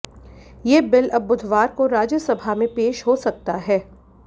ये बिल अब बुधवार को राज्यसभा में पेश हो सकता है